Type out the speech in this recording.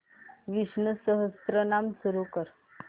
विष्णु सहस्त्रनाम सुरू कर